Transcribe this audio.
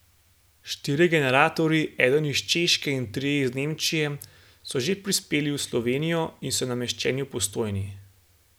Štirje generatorji, eden iz Češke in trije iz Nemčije, so že prispeli v Slovenijo in so nameščeni v Postojni.